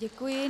Děkuji.